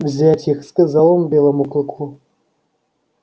взять их сказал он белому клыку